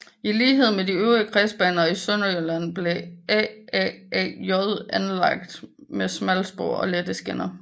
I lighed med de øvrige kredsbaner i Sønderjylland blev AaAJ anlagt med smalspor og lette skinner